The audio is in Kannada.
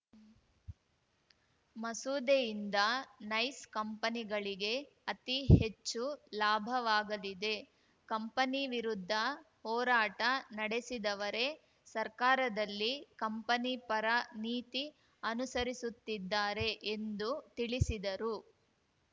ಮಸೂದೆಯಿಂದ ನೈಸ್ ಕಂಪನಿಗಳಿಗೆ ಅತಿ ಹೆಚ್ಚು ಲಾಭವಾಗದಿದೆ ಕಂಪನಿವಿರುದ್ಧ ಹೋರಾಟ ನಡೆಸಿದವರೆ ಸರ್ಕಾರದಲ್ಲಿ ಕಂಪನಿ ಪರ ನೀತಿ ಅನುಸರಿಸುತ್ತಿದ್ದಾರೆ ಎಂದು ತಿಳಿಸಿದರು